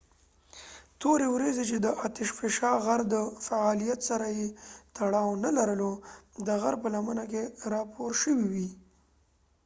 تورې وريځې چې د اتش فشان غر د فعاليت سره يې تړاو نه لرلو د غر په لمنه کې راپور شوي وې